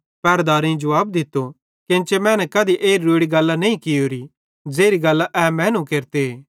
पहरदारेईं जुवाब दित्तो केन्चे मैने कधी एत्री रोड़ो गल्लां न कियोरी ज़ेरी गल्लां ए मैनू केरते